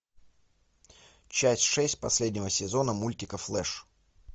часть шесть последнего сезона мультика флэш